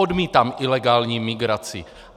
Odmítám ilegální migraci!